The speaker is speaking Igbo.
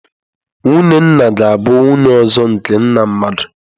Nwunye nna ga-abụ nwunye ọzọ nke nna mmadụ.